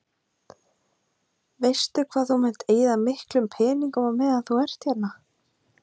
Heimir: Veistu hvað þú munt eyða miklum peningum á meðan þú ert hérna?